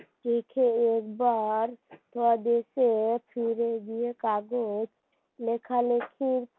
কাগজ লেখালেখির